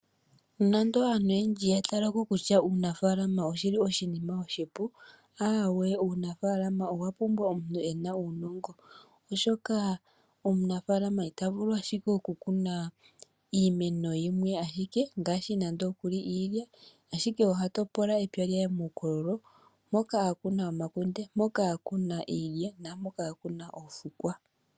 Nonando aantu oyendji ya tala ko kutya uunafalama oshi li oshinima oshipu, aawe, uunafalama owa pumbwa omuntu e na uunongo, oshoka omunafalama ita vulu ashike okukuna iimeno yimwe ashike ngaashi nando okuli iilya. Ashike oha topola epya lye muukololo, mpoka a kuna omakunde, mpoka a kuna iilya naampoka a kuna oofukwa.